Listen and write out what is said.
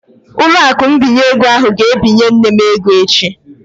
Ụlọakụ mbinye ego ahụ ga-ebinye nne m ego echi